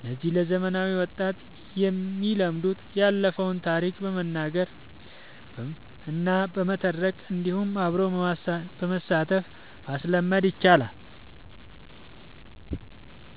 እነዚህ ለዘመናዊ ወጣት የሚለመዱት ያለፈውን ታሪክ በመናገር እና በመተረክ እንዲሁም አብሮ በማሳተፍ ማስለመድ ይቻላል።